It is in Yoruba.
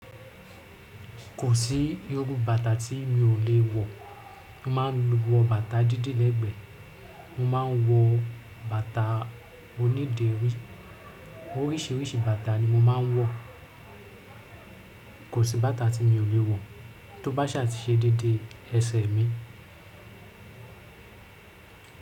Kò sí irú bàtà tí mi ò lè wọ̀, mo ma ń wọ bàtà dídí lẹ́gbẹ́, mo ma ń wọ bàtà oníderí, oríṣìíríṣìí bàtà ni mo ma ń wọ̀. Kò sí bàtà tí mi ò lè wọ̀ tó bá ṣàtíṣẹ́ dédé ẹsẹ̀ mi.